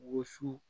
Woson